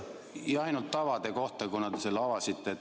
Jah, ainult tavade kohta, kuna te selle teema avasite.